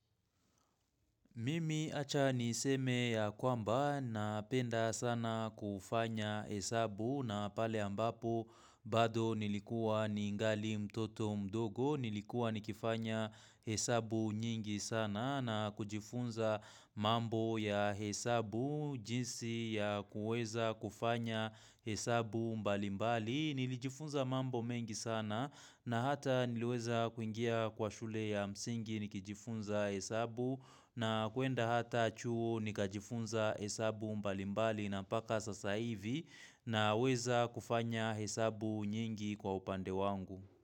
Mimi acha niseme ya kwamba napenda sana kufanya hesabu na pale ambapo bado nilikuwa ningali mtoto mdogo, nilikuwa nikifanya hesabu nyingi sana na kujifunza mambo ya hesabu, jinsi ya kuweza kufanya hesabu mbalimbali. Nilijifunza mambo mengi sana na hata niliweza kuingia kwa shule ya msingi nikijifunza hesabu na kuenda hata chuo nikajifunza hesabu mbalimbali na mpaka sasa hivi na weza kufanya hesabu nyingi kwa upande wangu.